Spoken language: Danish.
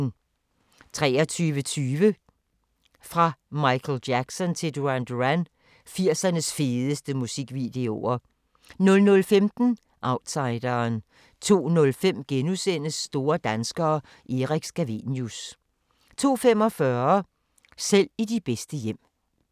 23:20: Fra Michael Jackson til Duran Duran – 80'ernes fedeste musikvideoer 00:15: Outsideren 02:05: Store danskere – Erik Scavenius * 02:45: Selv i de bedste hjem